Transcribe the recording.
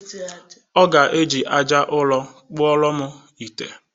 Ọ ga-eji aja ụrọ well kpụọrọ m ite.